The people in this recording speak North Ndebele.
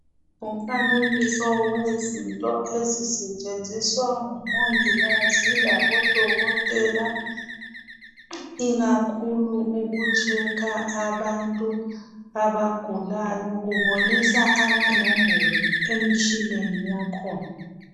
Ngumfanekiso wezinto ezisetshenziswa ngomongikazi labodokotela ikakhulu ukutshekha abantu abagulayo, kubonisa amanombolo emtshineni yakhona.